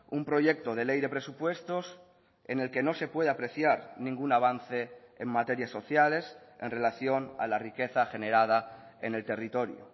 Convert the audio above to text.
un proyecto de ley de presupuestos en el que no se puede apreciar ningún avance en materias sociales en relación a la riqueza generada en el territorio